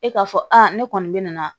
E k'a fɔ aa ne kɔni bɛ na